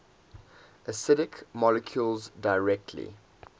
acidic molecules directly